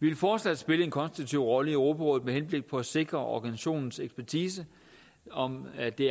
vi vil fortsat spille en konstruktiv rolle i europarådet med henblik på at sikre organisationens ekspertise og at det